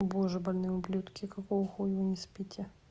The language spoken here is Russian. боже больные ублюдки какого хуя вы не спите